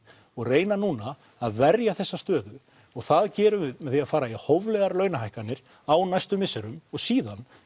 og reyna núna að verja þessa stöðu og það gerum við með því að fara í hóflegar launahækkanir á næstu misserum og síðan